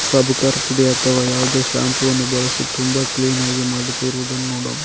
ಸಾಬುಕರ್ ಪುಡಿ ಅಥವಾ ಯಾವ್ದೋ ಶಾಂಪೂ ವನು ಬಳಸಿ ತುಂಬ ಕ್ಲೀನ್ ಆಗಿ ಮಾಡುತ್ತಿರುವುದನ್ನು ನೋಡ್ --